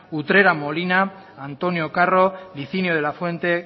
utrera molina antonio carro higinio de la fuente